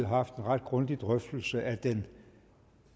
har haft en ret grundig drøftelse af den